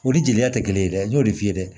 O ni jeliya tɛ kelen ye dɛ n'o de f'i ye dɛ